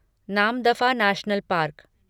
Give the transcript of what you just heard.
Namdapha national park